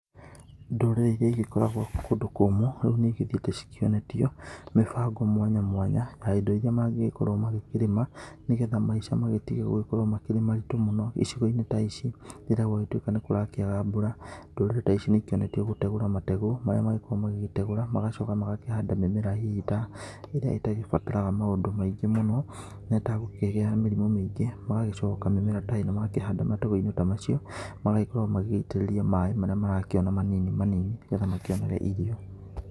Ndũrĩrĩ ĩrĩa igĩkoragwo kũndũ kũmũ rĩu nĩ igĩthiĩte cionetio mĩbango mwanya mwanya, ya indo irĩa magĩkorwo magĩkĩrĩma nĩgetha maica magĩtige gũkorwo marĩ maritũ mũno icigo-inĩ ta ici ,rĩrĩa gwagĩtuĩka nĩ kũraga mbura, ndũrĩrĩ ta ici nĩ ikĩonetio gũtegũra mategũro marĩa magĩkoragwo magĩtegũrwo magacoka magakĩhanda mĩmera hihi ta ĩrĩa itagĩbataraga maũndũ maingĩ mũno na ĩtagũkĩgĩa mĩrimũ mĩingĩ, magagicoka mĩmera ta ĩno magakĩhanda matũrainĩ ta macio, magagĩkorwo magĩitĩrĩria maĩ marĩa marakĩona manini manini, nĩgetha makionere irio.